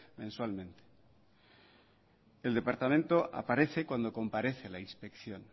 mensualmente el departamento aparece cuando comparece la inspección